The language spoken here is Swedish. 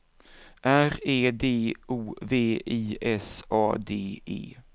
R E D O V I S A D E